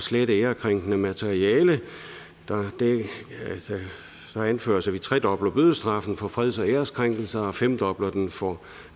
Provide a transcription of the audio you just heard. slette ærekrænkende materiale der anføres at vi tredobler bødestraffen for freds og æreskrænkelser og femdobler den for